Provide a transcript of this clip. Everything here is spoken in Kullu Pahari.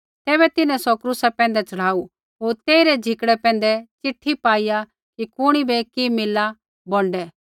तैबै तिन्हैं सौ क्रूसा पैंधै च़ढ़ाऊ होर तेइरै झिकड़ै पैंधै चिट्ठी पाईआ कि कुणी बै कि मिलला होर बोंडै